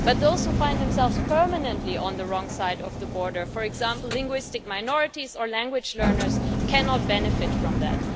But those who find themselves permanently on the wrong side of the border for example, linguistic minorities or language learners cannot benefit from that.